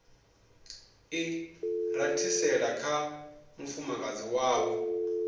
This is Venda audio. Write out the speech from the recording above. i rathisela kha mufumakadzi wavho